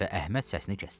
Və Əhməd səsini kəsdi.